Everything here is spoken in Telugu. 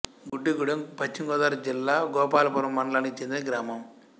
గుడ్డిగూడెం పశ్చిమ గోదావరి జిల్లా గోపాలపురం మండలానికి చెందిన గ్రామం